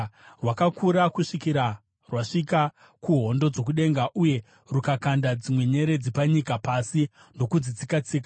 Rwakakura kusvikira rwasvika kuhondo dzokudenga, uye rukakanda dzimwe nyeredzi panyika pasi ndokudzitsika-tsika.